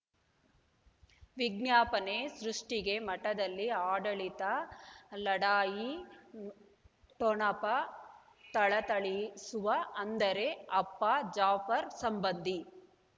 ವಿಜ್ಞಾಪನೆ ಸೃಷ್ಟಿಗೆ ಮಠದಲ್ಲಿ ಆಡಳಿತ ಲಢಾಯಿ ಠೊಣಪ ಥಳಥಳಿಸುವ ಅಂದರೆ ಅಪ್ಪ ಜಾಫರ್ ಸಂಬಂಧಿ